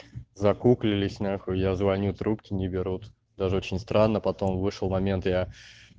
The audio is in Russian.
закуклились нахуй я звоню трубки не берут даже очень странно потом вышел момент я